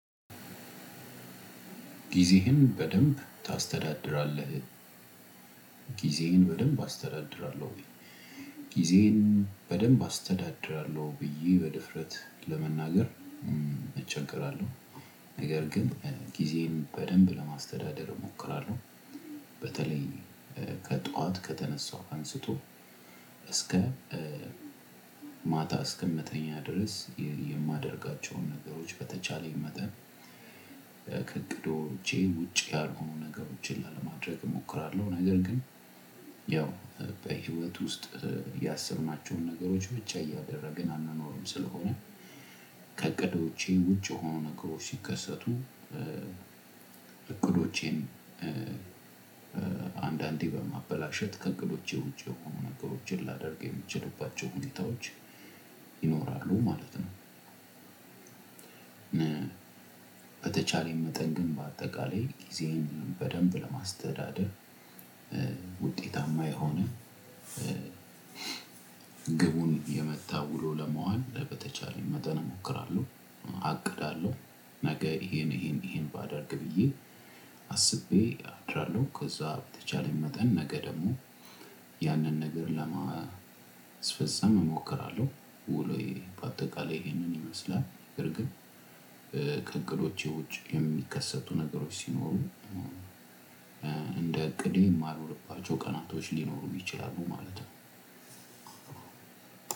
ጊዜህን በደንብ ታስተዳድራለህ? ጊዜየን በደንብ አስተዳድራለሁ። ጊዜየን በደንብ አስተዳድራለሁ ብዬ በድፍረት ለመናገር እቸገራለሁ። ነገር ግን ጊዜን በደንብ ለማስተዳደር እሞክራለሁ። በተለይ ከጧት ከተነሳው አንስቶ እስከ ማታ እስከ ምተኛ ድረስ የማደርጋቸውን ነገሮች በተቻለኝ መጠን ከእቅዶቼ ውጪ ያልሆኑ ነገሮችን ላለማድረግ እሞክራለሁ። ነገር ግን ያው በህይወት ውስጥ ያሰብናቸውን ነገሮች ብቻ እያደረግን አንኖርም ስለሆነ ከእቅዶ ውጭ የሆኑ ነገሮች ሲከሰቱ እቅዶቼን አንዳንዴ በማበላሸት ከእቅዶቸ ውጭ የሆኑ ነገሮችን ላደርግ ምችልባቸው ሁኔታወች ይኖራሉ ማለት ነው። በተቻለኝ መጠን ግን በአጠቃላይ ጊዜየን በደንብ ለማስተዳደር ውጤታማ የሆነ ግቡን የመታ ውሎ ለመዋል በተቻለ መጠን እሞክራለሁ። አቅዳለሁ ነገ ይሄን ይሄን ይሄን ባደርግ ብዬ አስቤ አድራለሁ። ከዛ በተቻለኝ መጠን ነገ ደግሞ ያንን ነገር ለማስፈፀም እሞክራለሁ። ውሎየ በአጠቃላይ ይሄንን ይመስላል። በርግጥ ከእቅዶቼ ውጪ የሚከሰቱ ነገሮች ሲኖሩ እንደ እቅዴ የማልሆንባቸው ቀናቶች ሊኖሩ ይቸላሉ ማለት ነው።